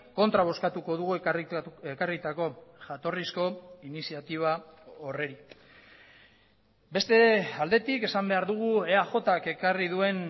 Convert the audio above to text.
kontra bozkatuko dugu ekarritako jatorrizko iniziatiba horri beste aldetik esan behar dugu eajk ekarri duen